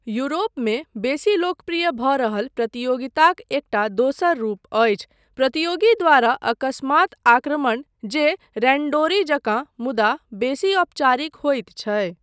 यूरोपमे बेसी लोकप्रिय भऽ रहल प्रतियोगिताक एकटा दोसर रूप अछि प्रतियोगी द्वारा अकस्मात् आक्रमण जे रैण्डोरी जकाँ मुदा बेसी औपचारिक होइत छै।